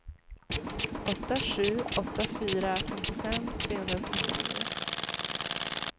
åtta sju åtta fyra femtiofem trehundratrettionio